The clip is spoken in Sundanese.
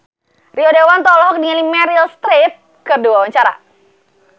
Rio Dewanto olohok ningali Meryl Streep keur diwawancara